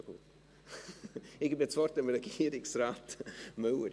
Ich gebe das Wort Regierungsrat Müller.